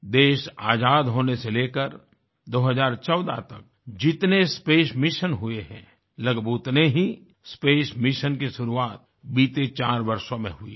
देश आज़ाद होने से लेकर 2014 तक जितने स्पेस मिशन हुए हैं लगभग उतने ही स्पेस मिशन की शुरुआत बीते चार वर्षों में हुई हैं